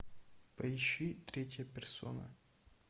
поищи третья персона